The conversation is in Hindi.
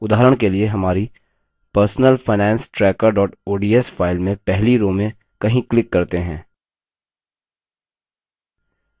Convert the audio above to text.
उदाहरण के लिए हमारी personal finance tracker ods file में पहली row में कहीं click करते हैं